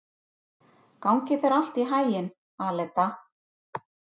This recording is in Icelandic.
Gangi þér allt í haginn, Aleta.